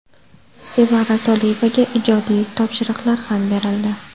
Sevara Soliyevaga ijodiy topshiriqlar ham berildi.